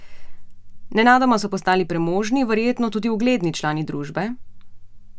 Nenadoma so postali premožni, verjetno tudi ugledni člani družbe?